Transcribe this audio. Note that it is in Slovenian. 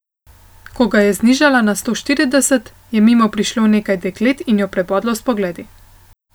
Ko ga je znižala na sto štirideset, je mimo prišlo nekaj deklet in jo prebodlo s pogledi.